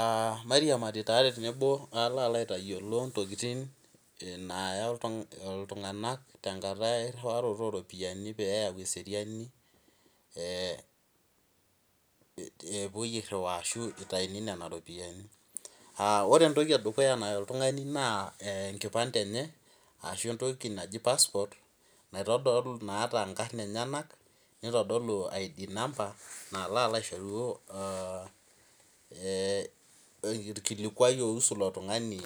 Aa mairiamari tenebo palo aitadol ntokitin naya ltunganak tenkata eriwaroto oropiyiani ee epuoi airiwaa ashu itauni ropiyani ore entoki naya ltunganak naa enkipande we ntoki naji passport naitodolu nkarn enyenak nalo aitodolu irkilikuai oiusu ilo tungani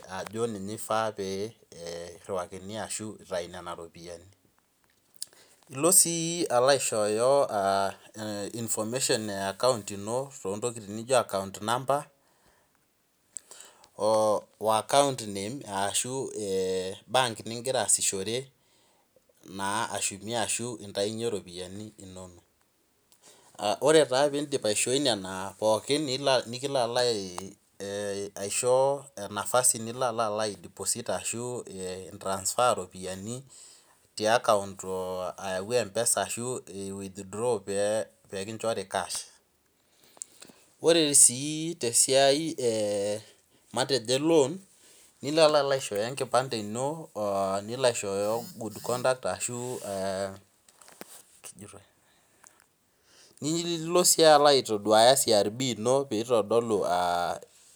ilo si aishooyo information e account ino account number o akount name ashu embenki ningira aasishore ore taa pidip aishoi nona pooki nikilcho nafasi nilo ai deposit ashu withdraw ropiyani tiakount ayau mpesa ore si tesiai eloan nilo aishooyo enkipande ino nilo aishooyo good conduct nilo si aitaduaya crb ino pitodolu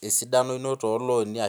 esidano ino toloni.